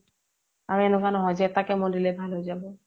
আৰু এনেকুৱা নহয় যে এটা chemo দিলে ভাল হৈ যাব